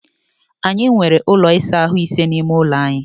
Anyị nwere ụlọ ịsa ahụ́ ise n’ime ụlọ anyị